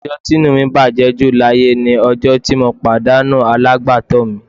Ọjọ́ tí inú mi bàjẹ́ ju láyé ni ọjọ́ tí mo pàdánù alágbàtọ́ mi